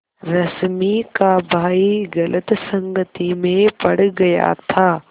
रश्मि का भाई गलत संगति में पड़ गया था